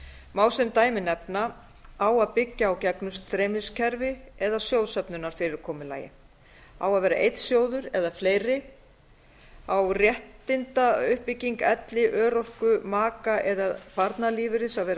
má sem dæmi nefna á að byggja á gegnum streymiskerfi eða sjóðsöfnunarfyrirkomulagi á að vera einn sjóður eða fleiri á réttindauppbygging elli örorku maka eða barnalífeyris að vera